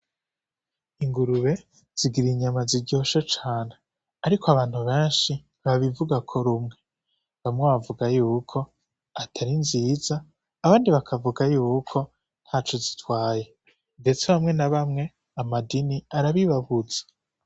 Ingurube zigira inyama ziryoshe cane ariko abantu benshi ntibabivugako rumwe; bamwe bavuga yuko atari nziza abandi bakavuga yuko ntaco zitwaye. Ndetse bamwe na bamwe amadini arabibabuza.